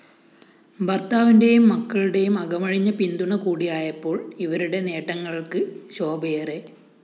ഭര്‍ത്താവിന്റെയും മക്കളുടെയും അകമഴിഞ്ഞ പിന്തുണ കൂടിയായപ്പോള്‍ ഇവരുടെ നേട്ടങ്ങള്‍ക്ക് ശോഭയേറെ